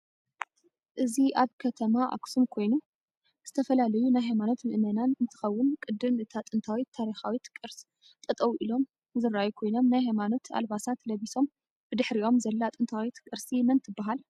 እዚ ኣብ ከተማ ኣክሱም ኮይኑ ዝተፈላላዩ ናይ ሃይማኖት መእመናን እንትከወን ቅድም እታ ጥንታዊት ታሪካዊት ቅርስ ጠጠው ሎም ዝርኣዩ ኮይኖም ናይ ሃይማኖት ኣልባሰት ለብሶም ብድሕሪም ዘላ ጥንታዊት ቅርስ መን ትበሃል?